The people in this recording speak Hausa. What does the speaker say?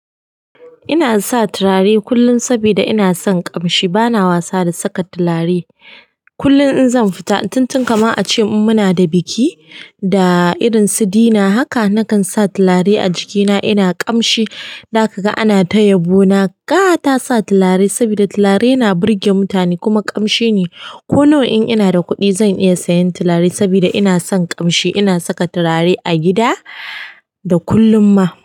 Ina sa turare kullum saboda ina son ƙamshi. Bana wasa da saka turare. Kullum in zan fita tuntun, kamar ace muna da biki da irinsu dinner haka nakan sa turare a jikina. Ina ƙamshi, za kaga ana ta yabo ne. Na ƙata sa turare saboda turare yana burge mutane kuma ƙamshi ne. Ko nawa in ina da kuɗi, zan iya sayen turare saboda inason ƙamshi. Ina saka turare a gida da kullum ma.